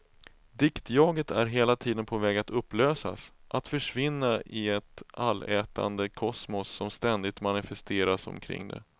Diktjaget är hela tiden på väg att upplösas, att försvinna i ett allätande kosmos som ständigt manifesteras omkring det.